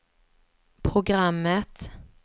programmet